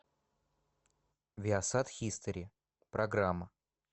виасат хистори программа